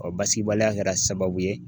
Ɔɔ basigibaliya kɛra sababu ye